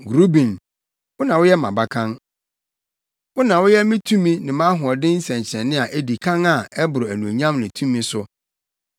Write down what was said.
“Ruben, wo na woyɛ mʼabakan. Wo na woyɛ me tumi ne mʼahoɔden nsɛnkyerɛnne a edi kan a ɛboro anuonyam ne tumi so.